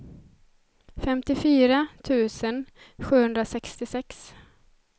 femtiofyra tusen sjuhundrasextiosex